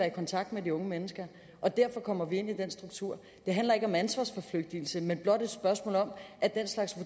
i kontakt med de unge mennesker og derfor kommer vi ind i den struktur det handler ikke om ansvarsforflygtigelse men blot et spørgsmål om at den slags